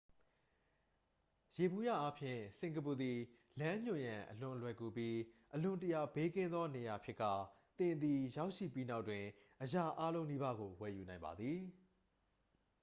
ယေဘုယျအားဖြင့် စင်ကာပူသည် လမ်းညွှန်ရန် အလွန်လွယ်ကူပြီး အလွန်တရာ ဘေးကင်းသော နေရာဖြစ်ကာ သင်သည် ရောက်ရှိပြီးနောက်တွင် အရာအားလုံးနီးပါးကို ဝယ်ယူနိုင်ပါသည်